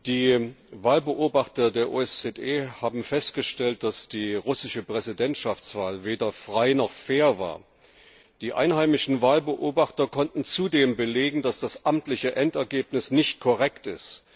Die Wahlbeobachter der OSZE haben festgestellt, dass die russische Präsidentschaftswahl weder frei noch fair war. Die einheimischen Wahlbeobachter konnten zudem belegen, dass das amtliche Endergebnis nicht korrekt ist.